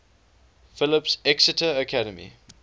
phillips exeter academy